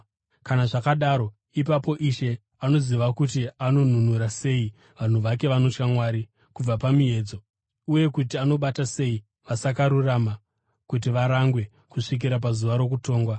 kana zvakadaro, ipapo Ishe anoziva kuti anonunura sei vanhu vake vanotya Mwari kubva pamiedzo uye kuti anobata sei vasakarurama kuti varangwe kusvikira pazuva rokutongwa.